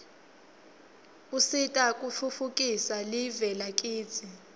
usita kutfutfukisa live lakitsi